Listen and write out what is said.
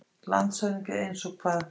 LANDSHÖFÐINGI: Eins og hvað?